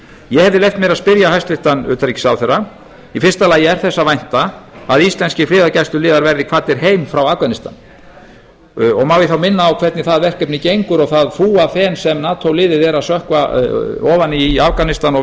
ég hef því leyft mér að spyrja hæstvirtan utanríkisráðherra fyrsta er þess að vænta að íslenskir friðargæsluliðar verði kvaddir heim frá afganistan má ég þá minna á hvernig það verkefni gengur og það fúafen sem nato liðið er að sökkva ofan í í afganistan og